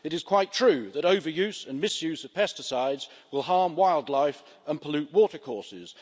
It is quite true that overuse and misuse of pesticides will harm wildlife and pollute watercourses.